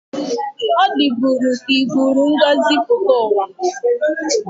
O diburi ka iburu ngozi puta uwa.